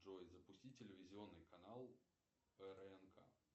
джой запусти телевизионный канал прнк